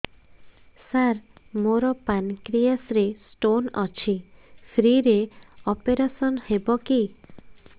ସାର ମୋର ପାନକ୍ରିଆସ ରେ ସ୍ଟୋନ ଅଛି ଫ୍ରି ରେ ଅପେରସନ ହେବ କି